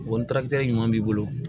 O ɲuman b'i bolo